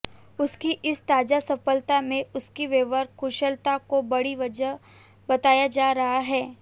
उनकी इस ताज़ा सफलता में उनकी व्यवहार कुशलता को बड़ी वजह बताया जा रहा है